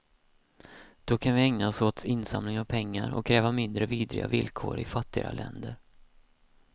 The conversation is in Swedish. Då kan vi ägna oss åt insamling av pengar och att kräva mindre vidriga villkor i fattigare länder.